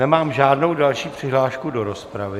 Nemám žádnou další přihlášku do rozpravy...